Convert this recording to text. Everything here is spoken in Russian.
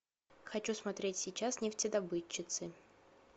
хочу смотреть сейчас нефтедобытчицы